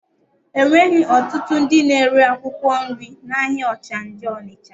E nweghi ọtụtụ ndị na-ere akwụkwọ nri n'ahịa Ọchanja Ọnịcha